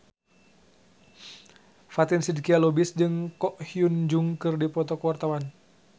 Fatin Shidqia Lubis jeung Ko Hyun Jung keur dipoto ku wartawan